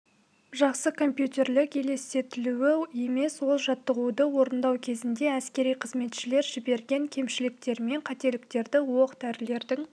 жақсы компьютерлік елестетілуі емес ол жаттығуды орындау кезінде әскери қызметшілер жіберген кемшіліктер мен қателіктерді оқ-дәрілердің